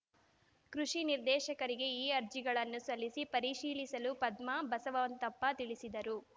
ಕೃಷಿ ನಿರ್ದೇಶಕರಿಗೆ ಈ ಅರ್ಜಿಗಳನ್ನು ಸಲ್ಲಿಸಿ ಪರಿಶೀಲಿಸಲು ಪದ್ಮ ಬಸವಂತಪ್ಪ ತಿಳಿಸಿದರು